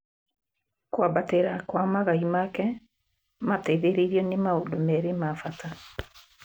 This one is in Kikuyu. kwambatĩra kwa magai make mateithĩrĩrio nĩ maũndũ merĩ mabata